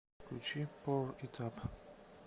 включи поур ит ап